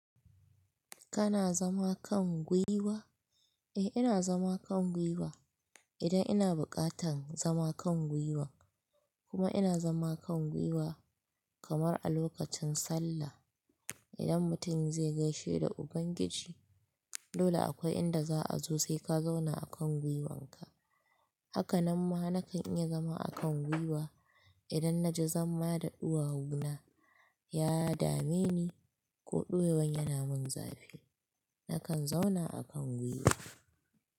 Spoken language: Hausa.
Kana zama kan gwiwa? Eh ina zama kan gwiwa idan ina buƙatan zama kan gwiwa kuma ina zama kan gwiwa kamar a lokacin sallah. Idan mutum zai gaishe da Ubangiji dole akwai inda za a zo sai ka zauna a kan gwiwanka. Haka nan ma na kan iya zama a kan gwiwa idan na ji zamma da uwawuna ya dame ni ko ɗuwawon yana mun zafi na kan zauna a kan gwiwa.